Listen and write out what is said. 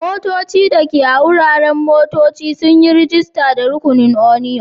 Motoci dake a wuraren motocci sun yi rajista da rukunin union.